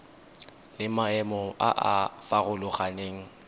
le maemo a a farologaneng